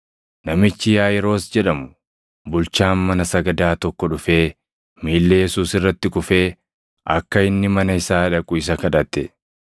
Namichi Yaaʼiiros jedhamu, bulchaan mana sagadaa tokko dhufee miilla Yesuus irratti kufee akka inni mana isaa dhaqu isa kadhate;